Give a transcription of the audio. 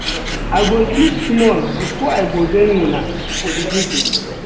I go sleep small before I go join una for di virgil.